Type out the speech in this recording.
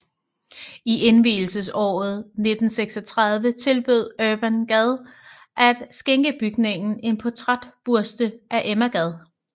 I indvielsesåret 1936 tilbød Urban Gad at skænke bygningen en portrætbuste af Emma Gad